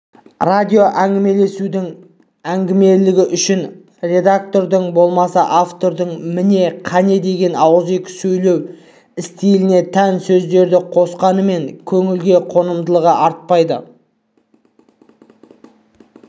радиоәңгімелесудің әңгімелілігі үшін редактордың болмаса автордың міне қане деген ауызекі сөйлеу стиліне тән сөздерді қосқанымен көңілге қонымдылығы артпайды